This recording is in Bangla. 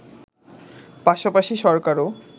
পাশাপাশি সরকারও